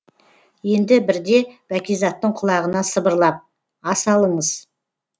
енді бірде бәкизаттың құлағына сыбырлап ас алыңыз